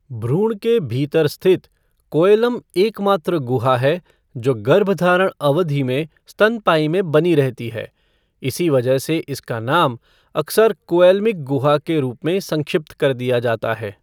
भ्रूण के भीतर स्थित कोऐलम एकमात्र गुहा है जो गर्भधारण अवधि में स्तनपायी में बनी रहती है, इसी वजह से इसका नाम अक्सर कोऐलमिक गुहा के रूप में संक्षिप्त कर दिया जाता है।